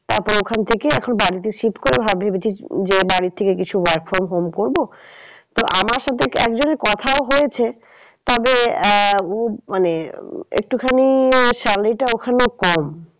তারপর ওখান থেকে এখন বাড়িতে shift করে ভেবেছি যে বাড়ি থেকে কিছু work from home করবো তো আমার সাথে একজনের কথাও হয়েছে। তবে আহ উ মানে আহ একটুখানি salary টা ওখানে কম